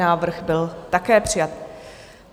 Návrh byl také přijat.